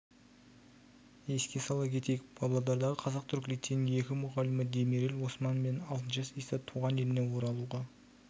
еске сала кетейік павлодардағы қазақ-түрік лицейінің екі мұғалімі демирел осман мен алтынташ иса туған еліне оралуға